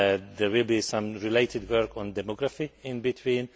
There will be some related work on demography in between.